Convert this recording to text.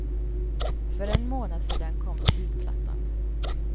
För en månad sedan kom debutplattan.